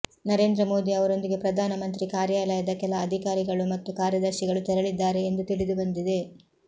ನರೇಂದ್ರ ಮೋದಿ ಅವರೊಂದಿಗೆ ಪ್ರಧಾನಮಂತ್ರಿ ಕಾರ್ಯಾಲಯದ ಕೆಲ ಅಧಿಕಾರಿಗಳು ಮತ್ತು ಕಾರ್ಯದರ್ಶಿಗಳು ತೆರಳಿದ್ದಾರೆ ಎಂದು ತಿಳಿದುಬಂದಿದೆ